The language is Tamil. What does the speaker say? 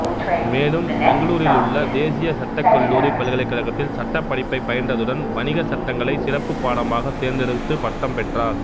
மேலும் பெங்களூரிலுள்ள தேசிய சட்டக்கல்லூரி பல்கலைக்கழகத்தில் சட்டப்படிப்பை பயின்றதுடன் வணிக சட்டங்களை சிறப்புப் பாடமாக தேர்ந்தெடுத்து பட்டம் பெற்றார்